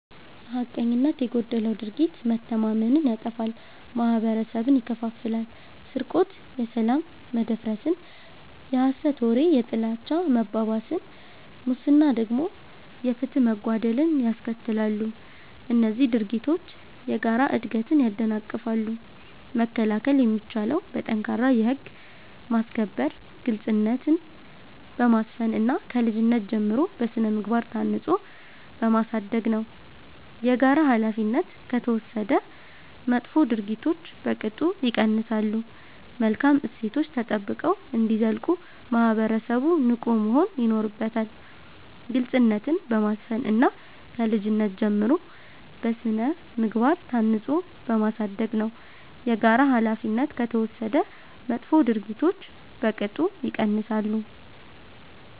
ሐቀኝነት የጎደለው ድርጊት መተማመንን ያጠፋል፤ ማህበረሰብን ይከፋፍላል። ስርቆት የሰላም መደፍረስን፣ የሐሰት ወሬ የጥላቻ መባባስን፣ ሙስና ደግሞ የፍትህ መጓደልን ያስከትላሉ። እነዚህ ድርጊቶች የጋራ እድገትን ያደናቅፋሉ። መከላከል የሚቻለው በጠንካራ የህግ ማስከበር፣ ግልጽነትን በማስፈን እና ከልጅነት ጀምሮ በሥነ-ምግባር ታንጾ በማሳደግ ነው። የጋራ ኃላፊነት ከተወሰደ መጥፎ ድርጊቶች በቅጡ ይቀንሳሉ። መልካም እሴቶች ተጠብቀው እንዲዘልቁ ማህበረሰቡ ንቁ መሆን ይኖርበታል። ግልጽነትን በማስፈን እና ከልጅነት ጀምሮ በሥነ-ምግባር ታንጾ በማሳደግ ነው። የጋራ ኃላፊነት ከተወሰደ መጥፎ ድርጊቶች በቅጡ ይቀንሳሉ።